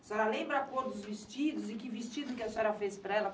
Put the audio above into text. A senhora lembra a cor dos vestidos e que vestido a senhora fez para ela?